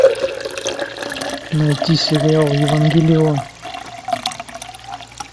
найти сериал евангелион